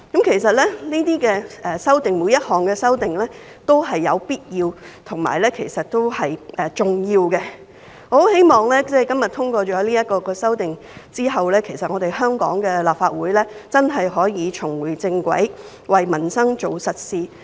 其實，每項修訂都是必要及重要的。我很希望，在今天通過了這些修訂之後，香港的立法會真的可以重回正軌，為民生做實事。